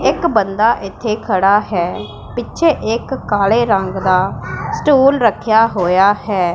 ਇੱਕ ਬੰਦਾ ਇੱਥੇ ਖੜਾ ਹੈ ਪਿੱਛੇ ਇੱਕ ਕਾਲੇ ਰੰਗ ਦਾ ਸਟੂਲ ਰੱਖਿਆ ਹੋਇਆ ਹੈ।